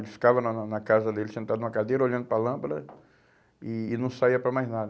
Ele ficava na na na casa dele, sentado numa cadeira, olhando para a lâmpada e e não saía para mais nada.